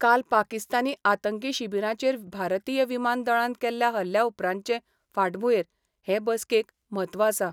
काल पाकिस्तानी आतंकी शिबिरांचेर भारतीय विमान दळान केल्ल्या हल्ल्या उपरांतचे फाटभुंयेर हे बसकेक म्हत्व आसा.